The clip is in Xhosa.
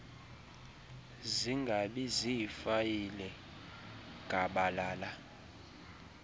zingabi ziifayile gabalala